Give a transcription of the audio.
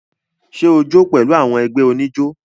Ṣẹ o jó pẹ̀lú àwọn ẹgbẹ́ oníjó?